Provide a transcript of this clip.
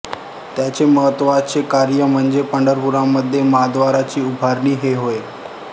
त्याचे महत्त्वाचे कार्य म्हणजे पंढरपुरामध्ये महाव्दाराची उभारणी हे होय